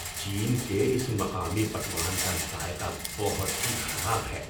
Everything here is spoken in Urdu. چین کے اس مقامی پکوان کا ذائقہ بہت ہی خراب ہے۔